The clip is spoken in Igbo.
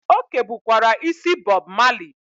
O kebukwara isi Bob Marley.